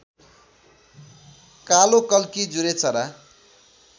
कालोकल्की जुरेचरा